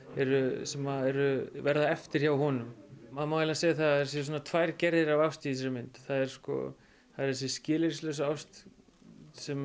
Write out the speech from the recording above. sem verða eftir hjá honum það má eiginlega segja að það séu svona tvær gerðir af ást í þessari mynd það er þessi skilyrðislausa ást sem